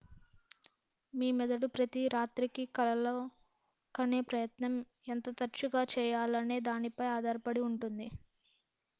మీ మెదడు ప్రతి రాత్రి కి కలలు కనే ప్రయత్నం ఎంత తరచుగా చేయాలనే దానిపై ఆధారపడి ఉంటుంది